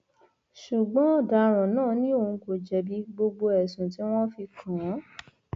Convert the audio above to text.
ṣùgbọn ọdaràn ná ni òun kò jẹbi gbogbo ẹsùn tí wọn fi kàn án